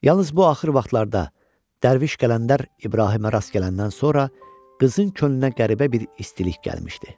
Yalnız bu axır vaxtlarda Dərviş Qələndər İbrahimə rast gələndən sonra qızın könlünə qəribə bir istilik gəlmişdi.